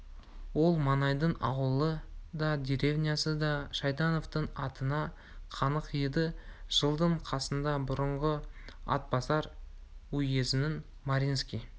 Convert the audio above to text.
ол маңайдың ауылы да деревнясы да шайтановтың атына қанық еді жылдың қысында бұрынғы атбасар уезінің маринский